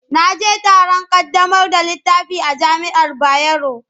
Na je taron ƙaddamar da littafi a jami'ar Bayero.